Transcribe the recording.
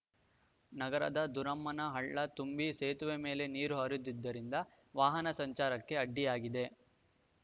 ನಗರದ ದುರಮ್ಮನ ಹಳ್ಳ ತುಂಬಿ ಸೇತುವೆ ಮೇಲೂ ನೀರು ಹರಿದಿದ್ದರಿಂದ ವಾಹನ ಸಂಚಾರಕ್ಕೆ ಅಡ್ಡಿಯಾಗಿದೆ